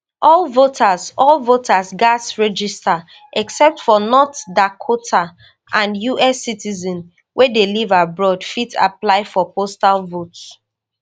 all voters all voters gatz register except for north dakota and us citizens wey dey live abroad fit apply for postal vote